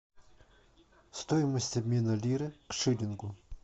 стоимость обмена лиры к шиллингу